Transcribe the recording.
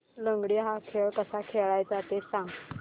लंगडी हा खेळ कसा खेळाचा ते सांग